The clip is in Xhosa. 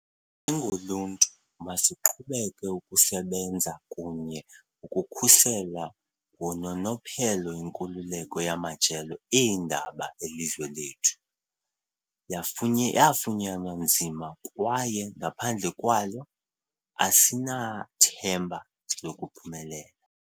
Njengoluntu, masiqhubeke ukusebenza kunye ukukhusela ngononophelo inkululeko yamajelo eendaba elizwe lethu. Yafunya yafunyanwa nzima kwaye ngaphandle kwayo, asinathemba lokuphumelela.